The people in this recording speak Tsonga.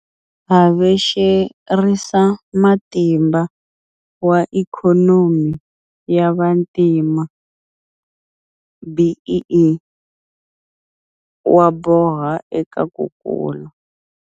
Havexerisamatimba wa Ikhonomi ya Vantima, BEE, wa boha eka ku kula.